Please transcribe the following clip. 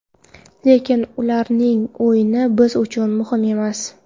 Lekin ularning o‘yini biz uchun muhim emas.